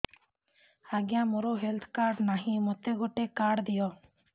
ଆଜ୍ଞା ମୋର health card ନାହିଁ ମୋତେ ଗୋଟେ କାର୍ଡ ଦିଅ